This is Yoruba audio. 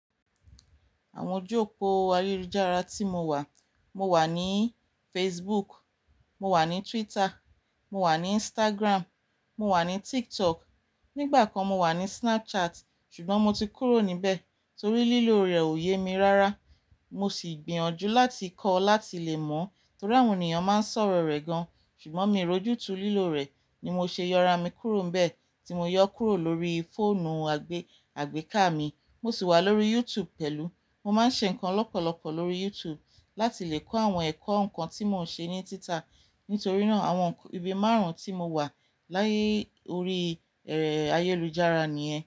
Àwọn ojú òpó ayélujára tí mo wà, mo wà ní Facebook, mo wà ní Twitter, mo wà ní Instagram, mo wà ní TikTok. Nígbà kan mo wà ní Snapchat ṣùgbọ́n mo ti kúrò níbẹ̀ torí lílo rẹ̀ ò ye mi rárá. Mo sì gbìyànjú láti kọ́ láti lè mọ̀ torí àwọn ènìyàn máa ń sọ̀rọ̀ rẹ̀ gan-an. Ṣùgbọ́n mi roju tu lílo rẹ̀ ni mo ṣe yọra mi kúrò nbẹ̀, tí mo yọ kúrò lórí fóònù àgbéká mi. Mo sì wà lórí YouTube pẹ̀lú. Mo máa ń ṣe nnkan lọ́pọ̀lọpọ̀ lórí YouTube láti lè kọ́ àwọn ẹ̀kọ́ nǹkan tí mò ń ṣe ní títa. Nítorí náà àwọn ibi márùn-ún tí mo wà láyé orí ayélujára ni yen.